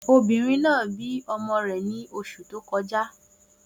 Obìnrin náà bí ọmọ rẹ̀ ní oṣù tó kọjá.